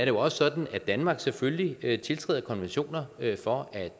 jo også sådan at danmark selvfølgelig tiltræder konventioner for at